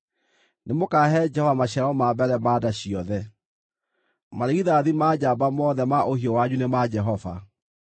nĩmũkahe Jehova maciaro ma mbere ma nda ciothe. Marigithathi ma njamba mothe ma ũhiũ wanyu nĩ ma Jehova.